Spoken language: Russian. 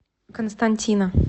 константина